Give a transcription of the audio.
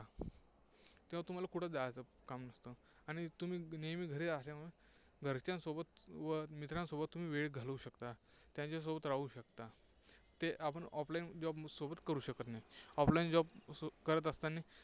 तेव्हा तुम्हाला कुठं जायचं काम नसतं आणि तुम्ही नेहमी घरी असल्यामुळे घरच्यांसोबत व मित्रांसोबत तुम्ही वेळ घालवू शकता. त्यांच्यासोबत राहू शकता ते आपण off line job सोबत करू शकत नाही. off line job करत असताना